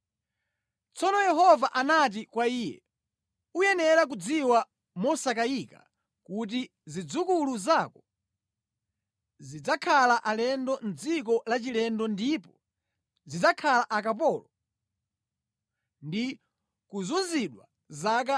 Tsono Yehova anati kwa iye, “Uyenera kudziwa mosakayika kuti zidzukulu zako zidzakhala alendo mʼdziko lachilendo ndipo zidzakhala akapolo ndi kuzunzidwa zaka 400.